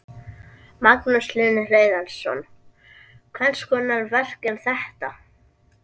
Magnús Hlynur Hreiðarsson: Hvers konar verk er þetta?